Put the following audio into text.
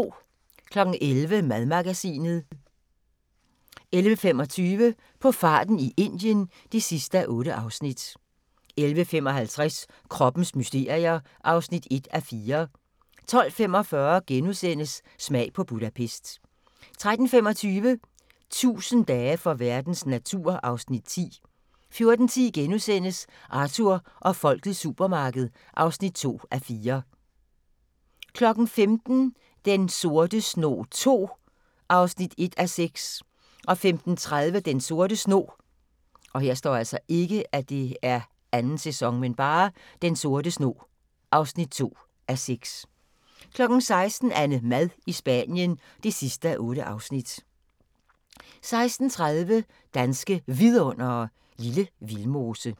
11:00: Madmagasinet 11:25: På farten i Indien (8:8) 11:55: Kroppens mysterier (1:4) 12:45: Smag på Budapest * 13:25: 1000 dage for verdens natur (Afs. 10) 14:10: Arthur og folkets supermarked (2:4)* 15:00: Den sorte snog II (1:6) 15:30: Den Sorte Snog (2:6) 16:00: AnneMad i Spanien (8:8) 16:30: Danske Vidundere: Lille Vildmose